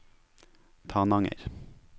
Tananger